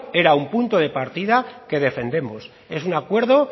era un punto de partida que defendemos es un acuerdo